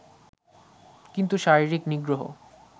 কিন্তু শারীরিক নিগ্রহ